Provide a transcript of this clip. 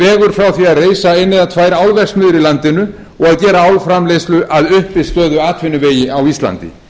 frá því að reisa eina eða tvær álverksmiðjur í landinu og til þess að gera álframleiðslu að uppistöðuatvinnuvegi á íslandi